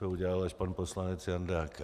To udělal až pan poslanec Jandák.